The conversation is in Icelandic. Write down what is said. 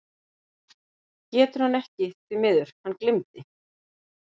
GETUR HANN EKKI ÞVÍ MIÐUR, HANN GLEYMDI